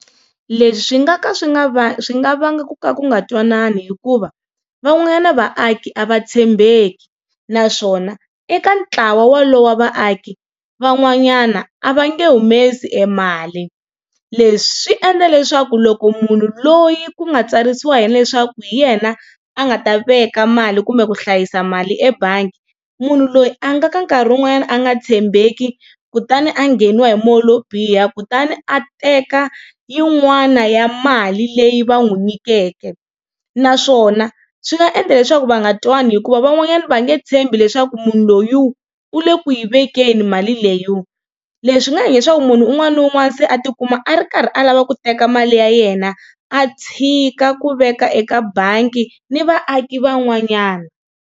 Leswi swi nga ka swi nga va swi nga vanga ku ka ku nga ntwanani hikuva van'wanyana vaaki a va tshembeki naswona eka ntlawa wolowo wa vaaki van'wanyana a va nge humesi e mali leswi swi endla leswaku loko munhu loyi ku nga tsarisiwa yena leswaku hi yena a nga ta veka mali kumbe ku hlayisa mali ebangi munhu loyi a nga ka nkarhi wun'wanyana a nga tshembeki kutani a nghenisiwa hi moya lowo biha kutani a teka yin'wana ya mali leyi va n'wi nyikikeke naswona swi nga endla leswaku va nga twani hikuva van'wanyana va nge tshembi leswaku munhu loyi u le ku yi vekeni mali leyo. Leswi nga endla leswaku munhu un'wana na un'wana se a tikuma a ri karhi a lava ku teka mali ya yena a tshika ku veka eka bangi ni vaaki van'wanyana.